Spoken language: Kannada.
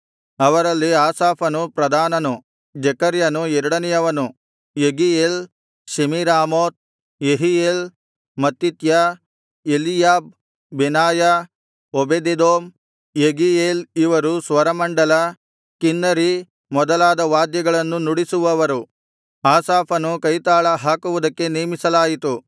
ಅವರಲ್ಲಿ ಆಸಾಫನು ಪ್ರಧಾನನು ಜೆಕರ್ಯನು ಎರಡನೆಯವನು Jeiel Shemiramoth Jehiel Mattithiah Eliab Benaiah Obededom Jeiel ಇವರು ಸ್ವರಮಂಡಲ ಕಿನ್ನರಿ ಮೊದಲಾದ ವಾದ್ಯಗಳನ್ನು ನುಡಿಸುವವರು ಆಸಾಫನು ಕೈತಾಳ ಹಾಕುವುದಕ್ಕೆ ನೇಮಿಸಲಾಯಿತು